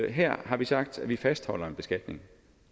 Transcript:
her har vi sagt at vi fastholder en beskatning